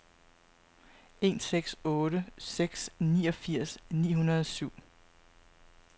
en seks otte seks niogfirs ni hundrede og syv